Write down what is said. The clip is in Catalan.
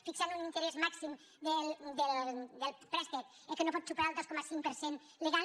fixant un interès màxim del préstec que no pot superar el dos coma cinc per cent legal